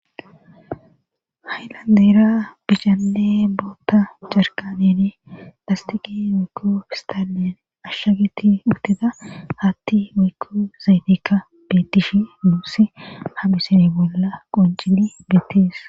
Haylandeyra bicale boota jarkanen dastiqi wiykko fistallen ashshageti utida hatti wukko zaytikka betish nuussi ha misini bolla qoncini bettis